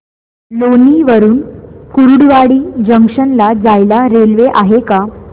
लोणी वरून कुर्डुवाडी जंक्शन ला जायला रेल्वे आहे का